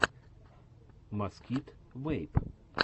маскит вэйп